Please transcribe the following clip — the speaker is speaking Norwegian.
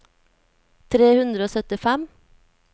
tre hundre og syttifem